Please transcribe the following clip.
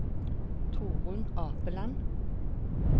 Torun Apeland